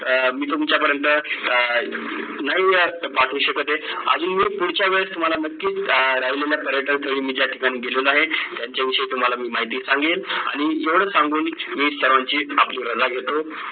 अं मी तुमच्या पर्यंत अं नाही पाठवू शकत आहे अजून एक पुढच्या वेळेस तुम्हाला नक्की अं राहिलेल्या पर्यटन स्थळी मी ज्या ठिकाणी गेलेलो आहे त्यांच्या विषयी तुम्हाला मी माहिती सांगेन आणि एवढंच सांगून मी सर्वांची आपली रजा घेतो